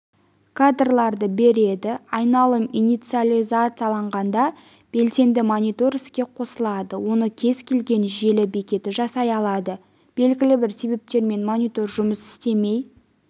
кадрларды береді айналым инициализацияланғанда белсенді монитор іске қосылады оны кез келген желі бекеті жасай алады белгілі бір себептермен монитор жұмыс істемей